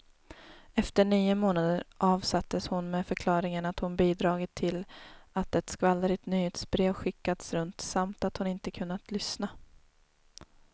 Efter nio månader avsattes hon med förklaringen att hon bidragit till att ett skvallrigt nyhetsbrev skickats runt, samt att hon inte kunnat lyssna.